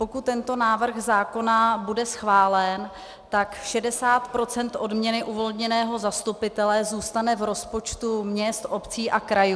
Pokud tento návrh zákona bude schválen, tak 60 % odměny uvolněného zastupitele zůstane v rozpočtu měst, obcí a krajů.